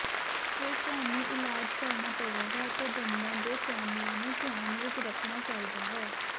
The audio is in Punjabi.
ਫਿਰ ਤੁਹਾਨੂੰ ਇਲਾਜ ਕਰਨਾ ਪਵੇਗਾ ਅਤੇ ਦੰਦਾਂ ਦੇ ਚੈਨਲਾਂ ਨੂੰ ਧਿਆਨ ਵਿਚ ਰੱਖਣਾ ਚਾਹੀਦਾ ਹੈ